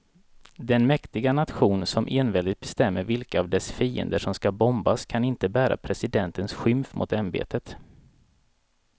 Den mäktiga nation som enväldigt bestämmer vilka av dess fiender som ska bombas kan inte bära presidentens skymf mot ämbetet.